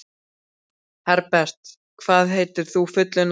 Herbert, hvað heitir þú fullu nafni?